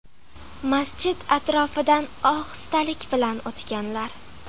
Masjid atrofidan ohistalik bilan o‘tganlar.